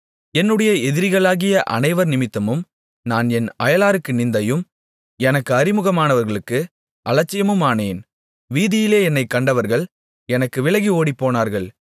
என்னுடைய எதிரிகளாகிய அனைவர் நிமித்தமும் நான் என் அயலாருக்கு நிந்தையும் எனக்கு அறிமுகமானவர்களுக்கு அலட்சியமுமானேன் வீதியிலே என்னைக் கண்டவர்கள் எனக்கு விலகி ஓடிப்போனார்கள்